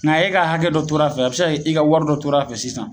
Nga e ka hakɛ dɔ tora a fɛ a be se ka kɛ e ka wari dɔ tora a fɛ sisan